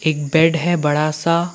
एक बेड है बड़ा सा--